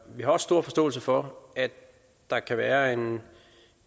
vi har også stor forståelse for at der kan være en